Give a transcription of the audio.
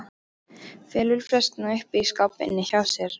Felur flöskuna uppi í skáp inni hjá sér.